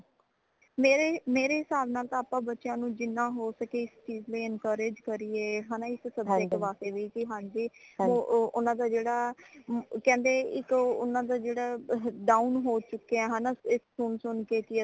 ਮੇਰੇ ਮੇਰੇ ਹਿਸਾਬ ਨਾਲ ਤਾਂ ਆਪਾ ਬੱਚਿਆਂ ਨੂ ਜਿਨਾ ਹੋ ਸਕੇ ਇਸ ਚੀਜ਼ ਲਈ encourage ਕਰੀਏ ਹੈ ਨਾ ਇਸ subject ਵਾਸਤੇ ਵੀ ਹਾਂਜੀ ਓਨਾ ਦਾ ਜੇੜਾ ਕਹਿੰਦੇ ਇਕ ਓਨਾ ਦਾ ਜੇੜਾ down ਹੋ ਚੁਕਿਆ ਹੈ ਨਾ ਸੁਨ ਸੁਨ ਕੇ ਕੀ ਅਸੀਂ